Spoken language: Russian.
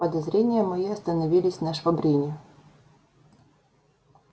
подозрения мои остановились на швабрине